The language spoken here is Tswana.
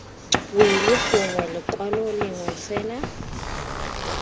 wili gongwe lekwalo lengwe fela